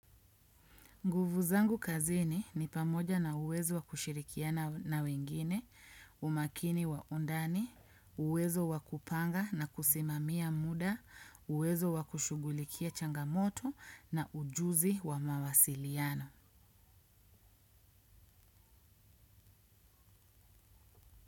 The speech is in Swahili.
Nguvu zangu kazini ni pamoja na uwezo wa kushirikiana na wengine, umakini wa undani, uwezo wa kupanga na kusimamia muda, uwezo wa kushugulikia changamoto na ujuzi wa mawasiliano.